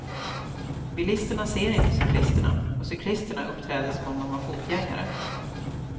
Bilisterna ser inte cyklisterna och cyklisterna uppträder som om de var fotgängare.